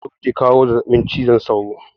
Cizon sauro ke kawo zazzabin cizon sauro